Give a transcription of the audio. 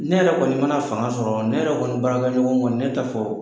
Ne yɛrɛ kɔni mana fanga sɔrɔ ne yɛrɛ kɔni baarakɛɲɔgɔn kɔni ne ta fɛ o